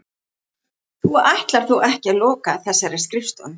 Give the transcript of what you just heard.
Þú ætlar þó ekki að loka þessari skrifstofu?